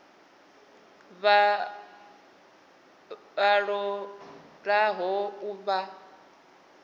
vha ṱo ḓaho u vha